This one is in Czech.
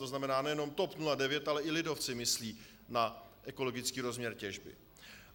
To znamená, nejenom TOP 09, ale i lidovci myslí na ekologický rozměr těžby.